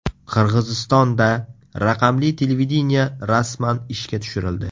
Qirg‘izistonda raqamli televideniye rasman ishga tushirildi.